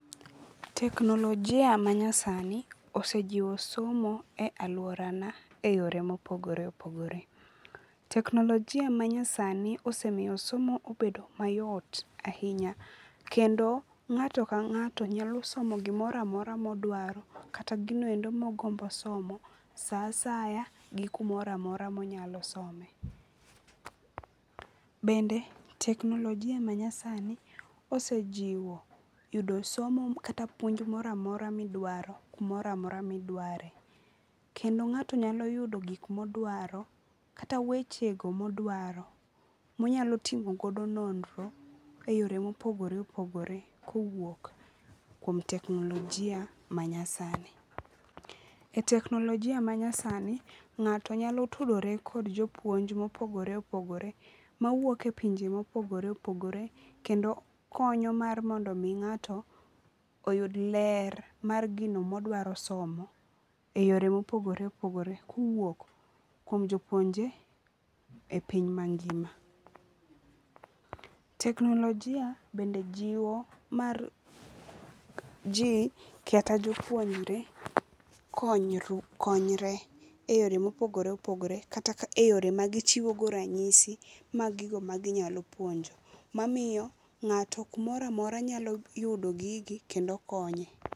Teknologia ma nyasani osejiwo somo e aluora na e yore mopogore opogore. Teknologia ma nyasani osemiyo somo obedo mayot ahinya. Kendo ng'ato ka ng'ato nyalosomo gimoro amora modwaro kata gini endo mogombo somo sa asaya gi kumoroamora monyalo some. Bende teknologia ma nyasani osejiwp yudo somo kata puonj moro amora midwaro kumoro amora midwarie. Kendo ng'ato nyalo yudo gik modwaro kata weche go modwaro monyalo timogodo nnonro e yore mopogore mopogore kowuok kuom teknologia ma nyasani. E teknologia ma nyasani ng'ato nyalo tudore kod jopuonj mopogore opogore mawuok e pinje mopogore opogore kendo konyo mar mondo mi ng'ato oyud ler mar gino modwaro somo e yore mopogore opogore kowuok kuom jopuonje e piny mangima. Jeknologia bende jiwo mar ji kata jopuonjre konyre e yore mopogore opogore kata e yore ma gichiwo go ranyisi mag gigo ma ginyalo puonjo. Mamiyo ng'ato kumoro amora nyalo yudo gigi kendo konye.